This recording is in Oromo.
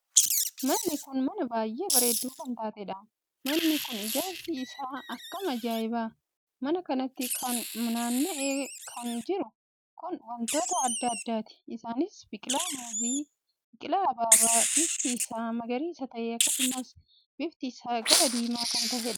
Manni kun mana baay'ee bareeddu kan taateedhaam!manni kun ijaarsi isaa akkam ajaa'iba!mana kanatti kan naanna'ee kan jiru kun wantoota addaa addaati. isaanis, biqilaa muuzii, biqilaa ababaa bifti isaa, magariisa tahe, akkasumas, bifti isaa gara diimaa kan taheedha.